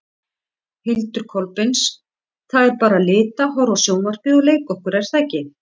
Hildur Kolbeins: Það er bara lita, horfa á sjónvarpið og leika okkur er það ekki?